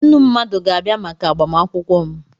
Nnu mmadụ ga-abịa maka agbamakwụkwọ m.